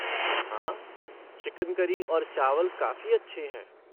हाँ, chicken curry और चावल काफ़ी अच्छे हैं।